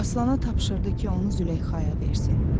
Aslana tapşırdı ki, onu Züleyxaya versin.